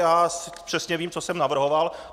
Já přesně vím, co jsem navrhoval.